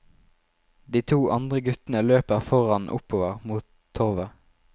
De to andre guttene løper foran oppover mot torvet.